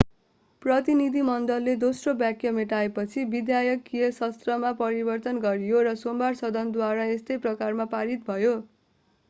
प्रतिनिधिमण्डलले दोस्रो वाक्य मेटाएपछि विधायकीय सत्रमा परिवर्तन गरियो र सोमबार सदनद्वारा यस्तै प्रकारमा पारित भयो